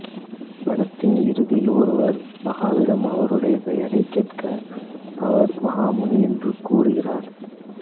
படத்தின் இறுதியில் ஒருவர் மகாவிடம் அவருடைய பெயரைக் கேட்க அவர் மகாமுனி என்று கூறுகிறார்